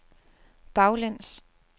baglæns